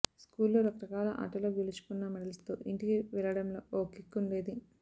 స్కూల్లో రకరకాల ఆటల్లో గెలుచుకున్న మెడల్స్తో ఇంటికి వెళ్లడంలో ఓ కిక్ ఉండేది